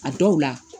A dɔw la